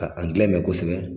Ka Angilɛ mɛn kosɛbɛ.